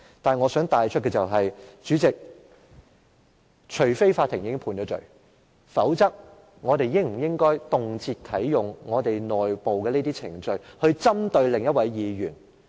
不過，我想帶出的是，主席，除非法院已經判罪，否則，我們應否動輒啟動我們內部的程序針對另一位議員？